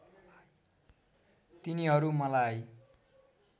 तिनीहरू मलाई